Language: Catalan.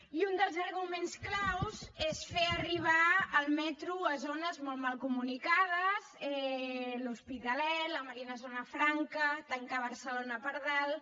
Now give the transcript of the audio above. i un dels arguments clau és fer arribar el metro a zones molt mal comunicades l’hospitalet la marina zona franca tancar barcelona per dalt